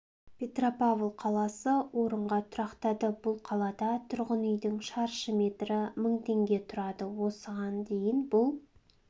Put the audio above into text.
петропавл қаласы орынға тұрақтады бұл қалада тұрғын үйдің шаршы метрі мың теңге тұрады осыған дейін бұл